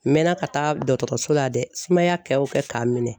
N mɛɛnna ka taa dɔgɔtɔrɔso la dɛ sumaya kɛ o kɛ ka n minɛ